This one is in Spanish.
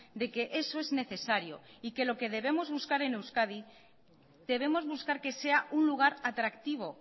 de que eso es necesario y que lo que debemos buscar en euskadi debemos buscar que sea un lugar atractivo